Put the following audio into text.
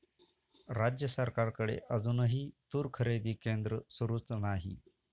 राज्य सरकारकडे अजूनही तूर खरेदी केंद्र सुरूच नाही!